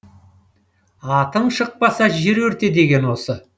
атың шықпаса жер өрте деген осы